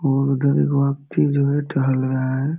और उधर एगो अथी जो है टहल रहा है।